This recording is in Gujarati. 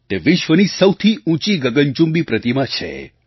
તે વિશ્વની સૌથી ઊંચી ગગનચુંબી પ્રતિમા છે